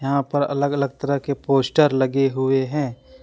यहां पर अलग अलग तरह के पोस्टर लगे हुए हैं।